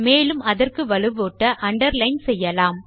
மேலும் அதற்கு வலுவூட்ட அண்டர்லைன் செய்யலாம்